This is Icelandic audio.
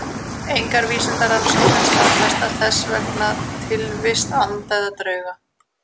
Engar vísindarannsóknir staðfesta þess vegna tilvist anda eða drauga.